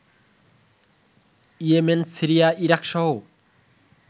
Yemen, Syria, ইরাকসহ